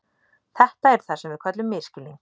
Þetta er það sem við köllum misskilning.